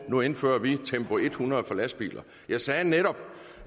nu indfører vi tempo hundrede for lastbiler jeg sagde netop